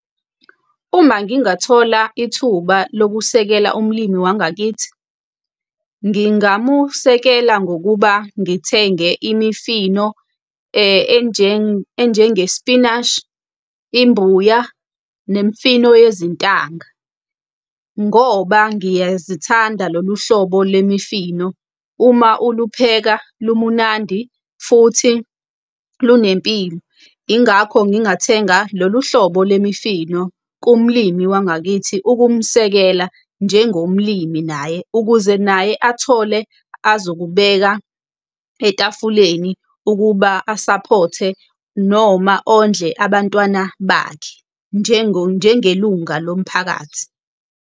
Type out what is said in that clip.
Uma ngingathola ithuba lokusekela umlimi wangakithi, ngingamusekela ngokuba ngithenge imifino enjengespinashi, imbuya, nemifino yezintanga. Ngoba ngiyazithanda lolu hlobo lemifino, uma ulupheka lumunandi futhi lunempilo, yingakho ngingathenga lolu hlobo le mifino kumlimi wangakithi ukumsekela njengomlimi naye, ukuze naye athole azokubeka etafuleni ukuba asaphothe noma ondle abantwana bakhe njengelunga lomphakathi.